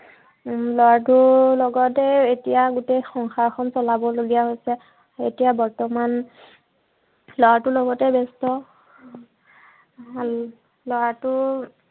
উম ল'ৰাটোৰ, লগতেই এতিয়া গোটেই সংসাৰখন চলাবলগীয়া গৈছে। এতিয়া বৰ্তমান ল'ৰাটোৰ লগতেই ব্য়স্ত। উম ল'ৰাটোৰ